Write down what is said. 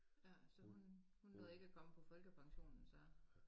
Ja så hun hun nåede ikke at komme på folkepensionen så